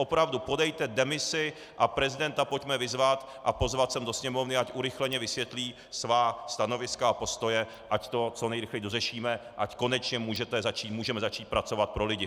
Opravdu, podejte demisi a prezidenta pojďme vyzvat a pozvat sem do Sněmovny, ať urychleně vysvětlí svá stanoviska a postoje, ať to co nejrychleji dořešíme, ať konečně můžeme začít pracovat pro lidi.